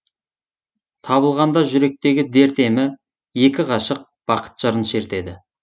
табылғанда жүректегі дерт емі екі ғашық бақыт жырын шертеді